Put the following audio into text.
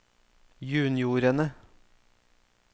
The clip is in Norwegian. juniorene